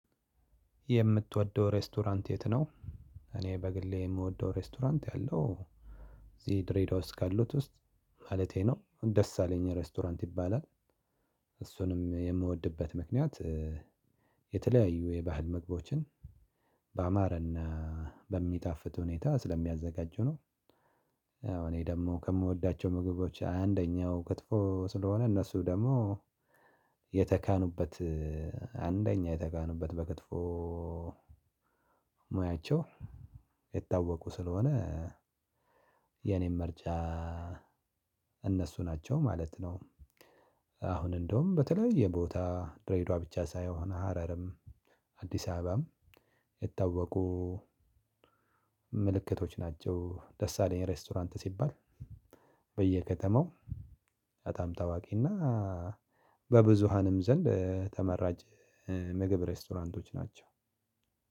የምትወደው ሬስቶራንት የት ነው? እኔ በግሌ የምወደው ሬስቶራንት ያለው እዚህ ድሬዳዋ ካሉት ውስጥ ማለቴ ነው ደስ አለኝ ሬስቶራንት ይባላል። እሱንም የምወድበት ምክንያት የተለያዩ የባህል ምግቦችን በማረና በሚጣፍጥ ሁኔታ ስለሚያዘጋጁ ነው። እኔ ደግሞ ከምወዳቸው ምግቦች አንደኛው ክትፎ ስለሆነ እነሱ ደግሞ የተካኑበት አንደኛ የተካኑበት በክትፎ ሙያቸው የታወቁ ስለሆነ። የኔን መርጃ እነሱ ናቸው ማለት ነው። አሁን እንደውም በተለያዬ ቦታ ድሬዳዋ ብቻ ሳይሆን ሀረርም አዲስ አበባም የታወቁ ምልክቶች ናቸው። ደስ አለኝ ሬስቶራንት ሲባል በየከተማው በጣም ታዋቂና በብዙሀንም ዘንድ ተመራጭ ምግብ ሬስቶራንት ናቸው።